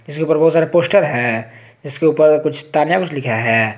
जिसके ऊपर बहुत सारे पोस्टर है जिसके ऊपर कुछ तान्या कुछ लिखा है।